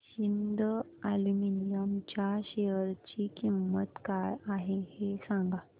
Hind aluminium च्या share ची किंमत काय आहे हे सांगा